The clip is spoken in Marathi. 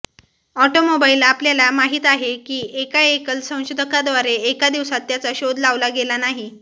ऑटोमोबाईल आपल्याला माहित आहे की एका एकल संशोधकाद्वारे एका दिवसात त्याचा शोध लावला गेला नाही